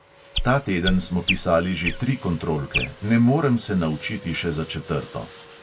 Ta teden smo pisali že tri kontrolke, ne morem se naučiti še za četrto.